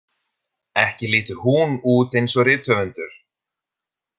Ekki lítur hún út eins og rithöfundur.